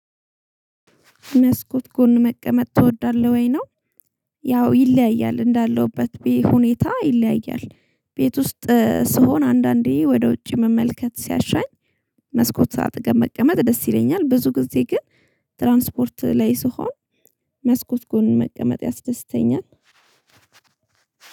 መስኮት ጎን መቀመጥ ትወዳለህ ወይ ነው? ያው ይለያያል እንዳለሁበት ዌይ ሁኔታ ይለያያል ቤት ውስጥ ስሆን አንዳንዴ ወደ ውጭ መመልከት ሲያሻኝ። መስኮት አጠገብ መቀመጥ ደስ ይለኛል ብዙ ጊዜ ግን ትራንስፖርት ላይ ስሆን። መስኮት ጎን መቀመጥ ያስደስተኛል።